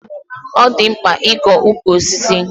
Ọ dị mkpa ịkọ ukwu osisi.